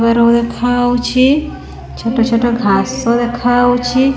ବାଡ ଦେଖାଉଚି ଛୋଟ ଛୋଟ ଘାସ ଦେଖାଉଚି।